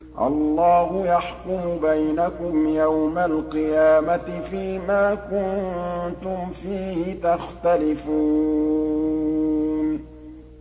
اللَّهُ يَحْكُمُ بَيْنَكُمْ يَوْمَ الْقِيَامَةِ فِيمَا كُنتُمْ فِيهِ تَخْتَلِفُونَ